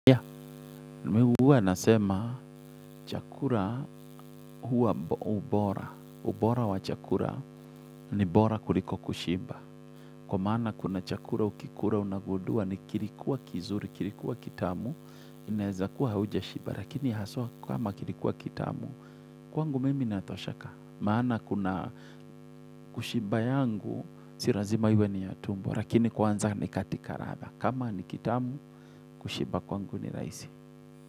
Yaa, mimi huwa nasema, chakula huwa bora. Ubora wa chakula ni bora kuliko kushimba. Kwa maana kuna chakula ukikula unagudua ni kilikuwa kizuri, kilikuwa kitamu, inaweza kuwa haujashiba, lakini haswa kama kilikuwa kitamu, kwangu mimi natosheka. Maana kuna kushimba yangu, si lazima iwe ni ya tumbu, lakini kwanza ni katika ladha. Kama ni kitamu, kushimba kwangu ni raisi.